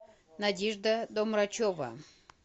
надежда домрачева